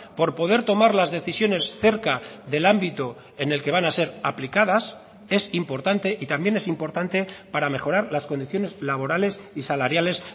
por poder tomar las decisiones cerca del ámbito en el que van a ser aplicadas es importante y también es importante para mejorar las condiciones laborales y salariales